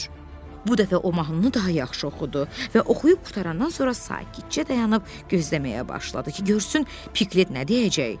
Bu dəfə o mahnını daha yaxşı oxudu və oxuyub qurtarandan sonra sakitcə dayanıb gözləməyə başladı ki, görsün Piklit nə deyəcək.